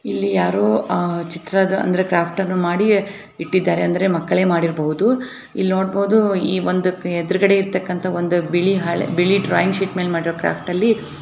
ಇಲ್ಲಿ ಯಾರೋ ಅಹ್ ಚಿತ್ರದ ಅಂದ್ರೆ ಕ್ರಾಫ್ಟ್ ಅನ್ನ ಮಾಡಿ ಇಟ್ಟಿದಾರೆ ಅಂದ್ರೆ ಮಕ್ಕಳೇ ಮಾಡಿರಬಹುದು ಇಲ್ನೋಡಬಹುದು ಈ ಒಂದು ಎದುರುಗಡೆ ಇರ್ತಕ್ಕಂತ ಒಂದು ಬಿಳಿ ಹಳೇ ಬಿಳಿ ಡ್ರಾಯಿಂಗ್ ಶೀಟ್ ಮೇಲೆ ಮಾಡಿರೋ ಕ್ರಾಫ್ಟ್ ಅಲ್ಲಿ.